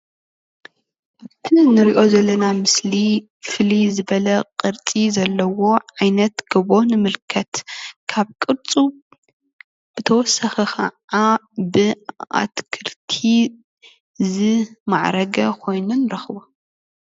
እዚ እንሪኦ ዘለና ምስሊ ፍልይ ዝበለ ቅርፂ ዘለዎ ዓይነት ገቦ ንምልከት፣ ካብ ቅርፁ ብተወሳኪ ክዓ ብኣትክልቲ ዝማዕረገ ኮይኑ ንረክቦ።